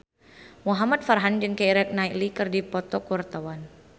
Muhamad Farhan jeung Keira Knightley keur dipoto ku wartawan